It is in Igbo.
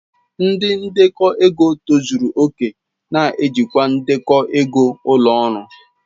Ndi ndekọ ego tozuru oke na-ejikwa ndekọ ego ụlọ ọrụ.